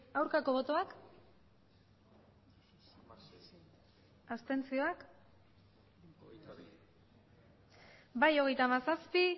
aurkako botoak abstentzioak bai hogeita hamazazpi